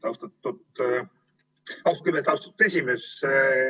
Austatud esimees!